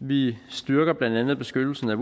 vi styrker blandt andet beskyttelsen af